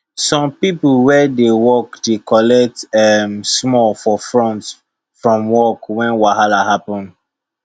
some people wey dey work dey collect um small for front from work when wahala happen